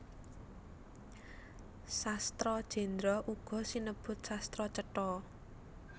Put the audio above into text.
Sastra Jendra uga sinebut Sastra Cetha